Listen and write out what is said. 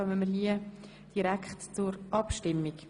Somit können wir direkt abstimmen.